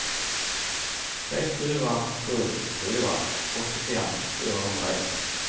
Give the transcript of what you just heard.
tre fyra sju fyra åttiofem fyrahundraett